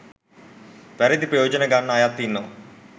වැරදි ප්‍රයෝජන ගන්න අයත් ඉන්නවා.